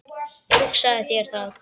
Hugsaðu þér það!